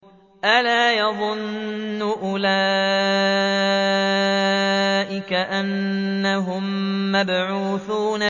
أَلَا يَظُنُّ أُولَٰئِكَ أَنَّهُم مَّبْعُوثُونَ